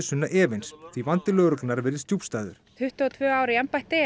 Sunna efins því vandi lögreglunnar virðist djúpstæður tuttugu og tvö ár í embætti